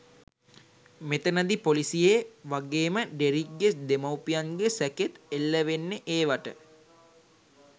මෙතනදි පොලිසියෙ වගේමඩෙරික්ගෙ දෙමව්පියන්ගෙ සැකෙත් එල්ලවෙන්නෙ ඒවට.